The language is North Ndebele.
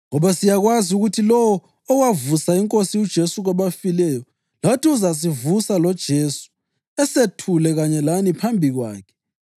ngoba siyakwazi ukuthi lowo owavusa iNkosi uJesu kwabafileyo lathi uzasivusa loJesu asethule kanye lani phambi kwakhe.